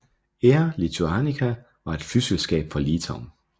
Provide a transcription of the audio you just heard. Air Lituanica var et flyselskab fra Litauen